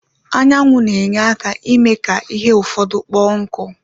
Anyanwụ na-enye aka ime ka ihe ụfọdụ kpo nku